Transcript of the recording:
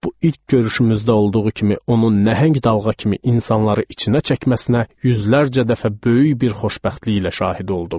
Bu ilk görüşümüzdə olduğu kimi onun nəhəng dalğa kimi insanları içinə çəkməsinə yüzlərcə dəfə böyük bir xoşbəxtliklə şahid oldum.